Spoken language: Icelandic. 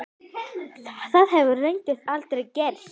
Það hefur reyndar aldrei gerst.